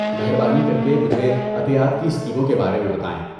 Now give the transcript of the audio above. مہربانی کر کے مجھے عطیات کی اسکیموں کے بارے میں بتائیں۔